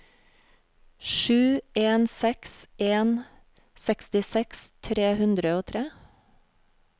sju en seks en sekstiseks tre hundre og tre